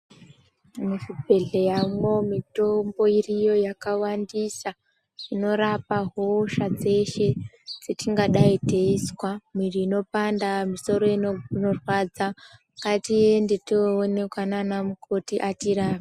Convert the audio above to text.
Muchibhedhleyamwo mitombo iriyo yakawandisa zvinorapa hosha dzeshe dzetingadai teizwa. Mwiri inopanda, misoro inorwadza, ngatiende toonekwa mana mukoti atirape.